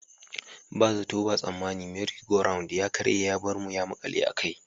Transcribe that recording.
Ba zato ba tsammani 'Merry Go Round' ya karye ya bar mu ya makale a kai.